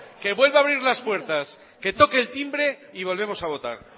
que vuelva a abrir las puertas que toque el timbre y volvemos a votar